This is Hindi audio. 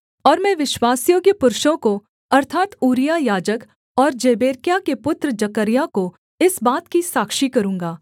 और मैं विश्वासयोग्य पुरुषों को अर्थात् ऊरिय्याह याजक और जेबेरेक्याह के पुत्र जकर्याह को इस बात की साक्षी करूँगा